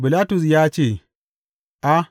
Bilatus ya ce, A!